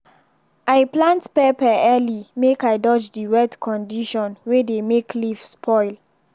i plant pepper early make i dodge the wet condition wey dey make leaf spoil.